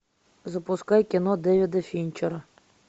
запускай кино дэвида финчера